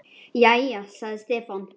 Jæja, sagði Stefán.